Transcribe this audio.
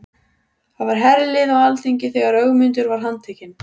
Það var herlið á alþingi þegar Ögmundur var handtekinn.